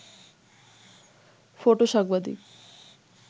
ফটো-সাংবাদিক